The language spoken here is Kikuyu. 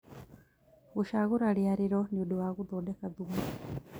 Gũcagũra rĩarĩro nĩũndũ wa gũthondeka thumu